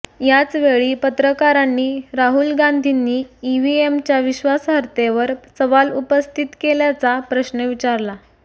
याचवेळी पत्रकारांनी राहुल गांधींनी ईव्हीएमच्या विश्वासार्हतेवर सवाल उपस्थित केल्याचा प्रश्न विचारला